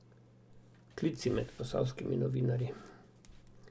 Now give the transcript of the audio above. Klici med posavskimi novinarji.